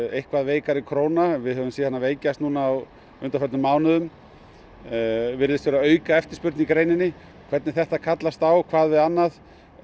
eitthvað veikari króna við höfum séð hana veikjast á undanförnum mánuðum og virðist vera auka eftirspurn í greininni hvernig þetta kallast á hvað við annað